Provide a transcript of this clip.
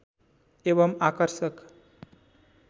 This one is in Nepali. एवम् आकर्षक